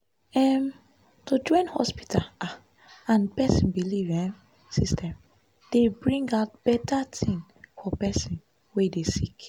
em- to join hospita ah and pesin belief emmm system dey bring out beta tin for pesin wey dey sick.